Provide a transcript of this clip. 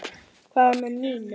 Hvað með Nínu?